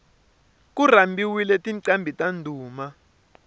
ku rhambiwile tinqambhi ta ndhuma